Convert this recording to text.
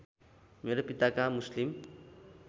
मेरो पिताका मुस्लिम